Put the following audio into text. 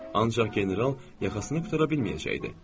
Ancaq general yaxasını qurtara bilməyəcəkdi.